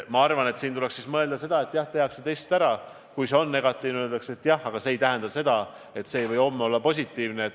Ma arvan, et siin tuleks mõelda sedasi, et jah, test tehakse ära, ent kui see on negatiivne, siis öeldakse, et see ei tähenda veel seda, et see ei või homme olla positiivne.